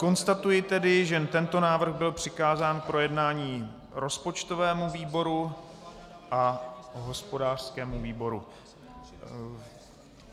Konstatuji tedy, že tento návrh byl přikázán k projednání rozpočtovému výboru a hospodářskému výboru.